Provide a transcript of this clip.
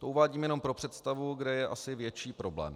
To uvádím jenom pro představu, kde je asi větší problém.